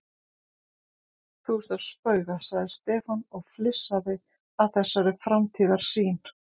Þú ert að spauga sagði Stefán og flissaði að þessari framtíðarsýn.